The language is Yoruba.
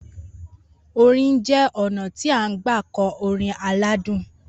Orin jẹ́ ọnà ti n gbà kọ orin aládùn